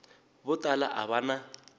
vo tala a va na